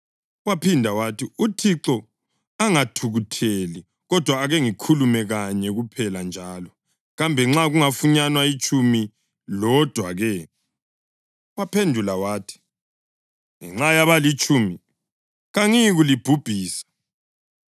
Waphinda wathi, “UThixo angathukutheli, kodwa ake ngikhulume kanye kuphela njalo. Kambe nxa kungafunyanwa itshumi lodwa-ke?” Waphendula wathi, “Ngenxa yabalitshumi kangiyikulibhubhisa.”